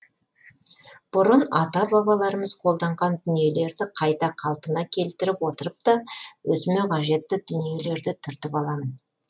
бұрын ата бабаларымыз қолданған дүниелерді қайта қалпына келтіріп отырып та өзіме қажетті дүниелерді түртіп аламын